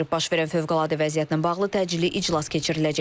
Baş verən fövqəladə vəziyyətlə bağlı təcili iclas keçiriləcək.